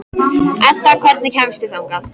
Edda, hvernig kemst ég þangað?